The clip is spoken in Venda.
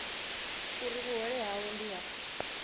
uri vhuhole havho ndi ha